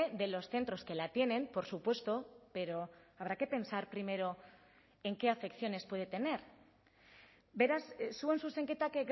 de los centros que la tienen por supuesto pero habrá que pensar primero en qué afecciones puede tener beraz zuen zuzenketak